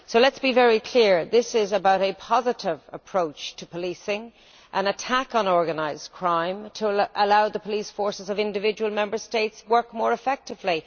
So let us be very clear this is about a positive approach to policing, an attack on organised crime, to allow the police forces of individual Member States to work more effectively.